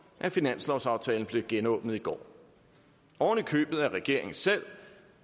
at finanslovsaftalen blev genåbnet i går ovenikøbet af regeringen selv